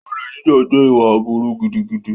Olè jíjà jẹ́ ìwà aburú gidigidi.